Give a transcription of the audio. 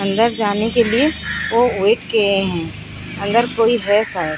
अंदर जाने के लिए वो कियें हैं अंदर कोई है शायद।